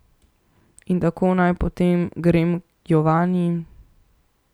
In tako naj potem grem k Jovani?